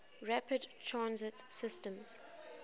rapid transit systems